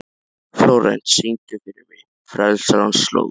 Flórent, syngdu fyrir mig „Frelsarans slóð“.